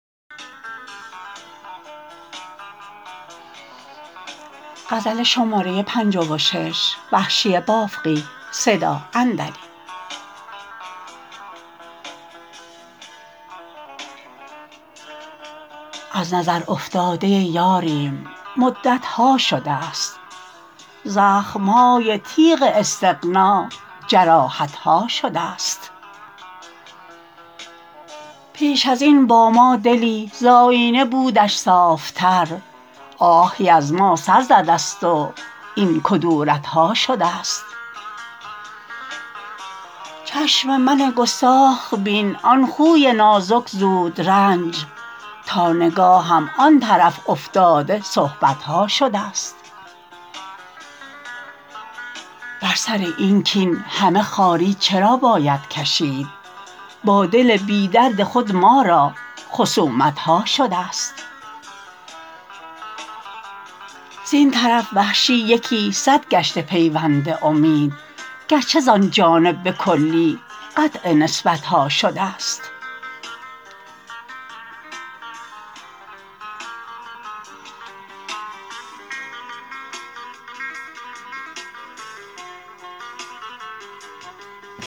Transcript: از نظر افتاده یاریم مدت ها شدست زخم های تیغ استغنا جراحت ها شدست پیش ازین با ما دلی زآیینه بودش صاف تر آهی از ما سر زدست و این کدورت ها شدست چشم من گستاخ بین آن خوی نازک زودرنج تا نگاهم آن طرف افتاده صحبت ها شدست بر سر این کین همه خواری چرا باید کشید با دل بی درد خود ما را خصومت ها شدست زین طرف وحشی یکی سد گشته پیوند امید گرچه زان جانب به کلی قطع نسبت ها شدست